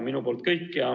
Minu poolt kõik.